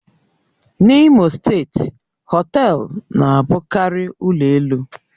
N'Imo steeti, họtelu na-abụkarị ụlọ elu